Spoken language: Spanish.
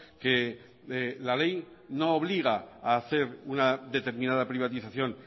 que la ley no obliga a hacer una determinada privatización